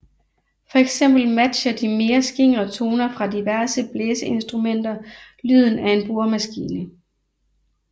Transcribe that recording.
Fx matcher de mere skingre toner fra diverse blæseinstrumenter lyden af en boremaskine